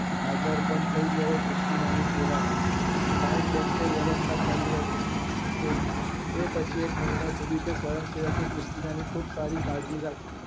હાજર પણ થઇ ગયા ક્રિસ્ટીનાની સેવા માં time bank એ વ્યવસ્થા કરી હતી તેની આ પછી એક મહિના સુધી તે સ્વયંસેવકે ક્રીશ્તીનાની ખુબ સારી કાળજી રાખી